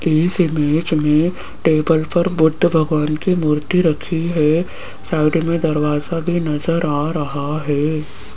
इस इमेज में टेबल पर बुद्ध भगवान की मूर्ति रखी है साइड में दरवाजा भी नजर आ रहा है।